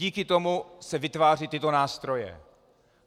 Díky tomu se vytvářejí tyto nástroje.